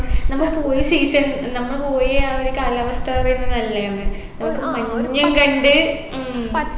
നമ്മള് പോയ season നമ്മള് പോയ ആ ഒരു കാലാവസ്ഥ പറയുമ്പൊ നല്ലയാണ് മഞ്ഞും കണ്ട് ഉം